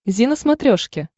зи на смотрешке